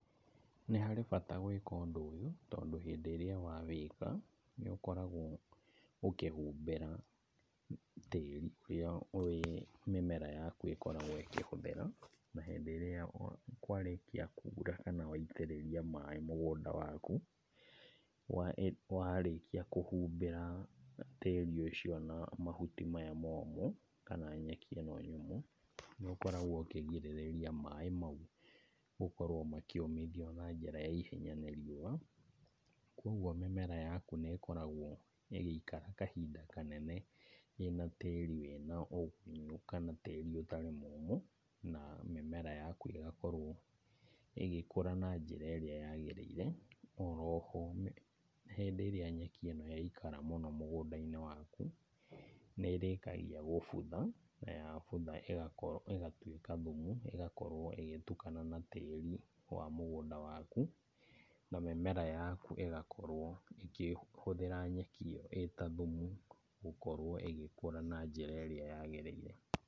Nĩ harĩ bata gwĩka ũndũ ũyũ tondũ hĩndĩ ĩrĩa wawĩka nĩũkoragwo ũkĩhumbĩra tĩĩri ũrĩa mĩmera yaku ĩkoragwo ĩkĩhũthĩra, na hĩndĩ ĩrĩa kwarĩkia kura kana waitirĩria maĩ mũgũnda waku warĩkia kũhumbĩra tĩĩri ũcio na mahuti maya momũ kana na nyeki ĩno nyũmũ, nĩũkoragwo ũkĩgirĩrĩria maĩ mau gũkorwo makĩũmithio na njĩra ya ihenya nĩ riũa. Koguo mĩmera yaku nĩ ĩkoragwo ĩgĩikara kahinda kanene ĩna tĩĩri wĩna ũgunyu kana tĩĩri ũtarĩ mũmũ. Na mĩmera yaku ĩgakorwo ĩgĩkũra na njĩra ĩrĩa yagĩrĩire. O ro ho hĩndĩ ĩrĩa nyeki ĩno yaikara mũno mũgũnda-inĩ waku, nĩ ĩrĩkagia gũbutha, na ya butha ĩgatuĩka thumu ĩgakorwo ĩgĩtukana na tĩĩri wa mũgũnda waku na mĩmera yaku ĩgakorwo ĩkĩhũthĩra nyeki ĩyo ĩ ta thumu gũkorwo ĩgĩkũra na njĩra ĩrĩa yagĩrĩire.